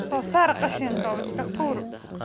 Soo saar qashinka oo iska tuur